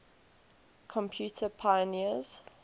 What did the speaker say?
computer pioneers